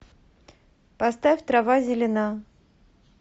поставь трава зелена